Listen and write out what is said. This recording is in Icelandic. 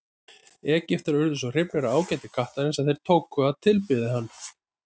Egyptar urðu svo hrifnir af ágæti kattarins að þeir tóku að tilbiðja hann.